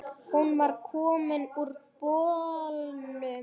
Hún var komin úr bolnum.